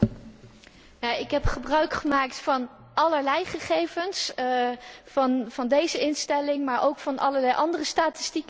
Ik heb gebruik gemaakt van allerlei gegevens, van deze instelling maar ook van allerlei andere statistieken die er zijn.